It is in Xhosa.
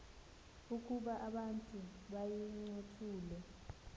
ukuba abantu bayincothule